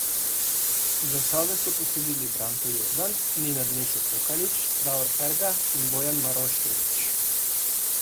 Glasove so posodili Branko Jordan, Nenad Nešo Tokalić, Davor Herga in Bojan Maroševič.